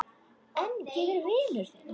En ég er vinur þinn.